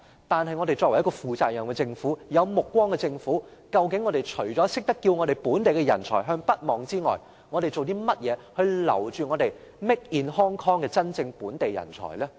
作為一個負責任和有目光的政府，究竟我們除了懂得叫本地人才向北望之外，我們做了甚麼來留住 "Made in Hong Kong" 的真正本地人才呢？